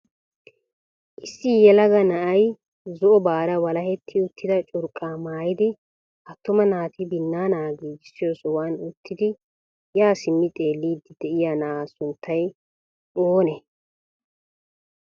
Issi yelaga na'ay zo'obara walaheti uttida curqqa maayidi attuma naati binaana giigissiyo sohuwam uttidi ya simmidi xeellid de'iya na'a sunttay oonee?